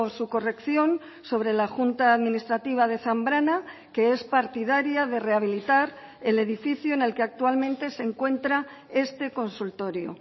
su corrección sobre la junta administrativa de zambrana que es partidaria de rehabilitar el edificio en el que actualmente se encuentra este consultorio